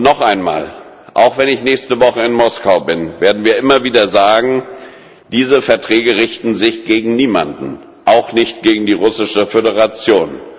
Noch einmal Auch wenn ich nächste Woche in Moskau bin, werden wir immer wieder sagen Diese Verträge richten sich gegen niemanden, auch nicht gegen die Russische Föderation.